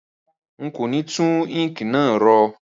Rárá, n kò ni tun ink náà ro